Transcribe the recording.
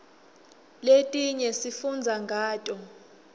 letinye sifundza ngato